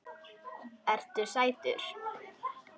Ertu sætur?